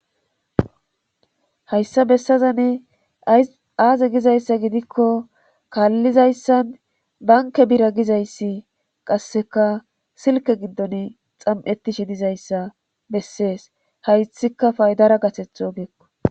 hayssa bessaza ne aaze gizayssa gidikko kaallizayssan banke bira gizayssi qasseka silke giddon xam7ettishe dizayssa bessees haythika faydara gaseth ogeekko